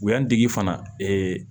U y'an dege fana